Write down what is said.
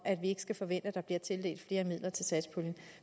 ikke skal forvente at der bliver tildelt flere midler til satspuljen